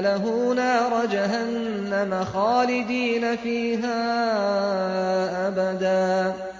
لَهُ نَارَ جَهَنَّمَ خَالِدِينَ فِيهَا أَبَدًا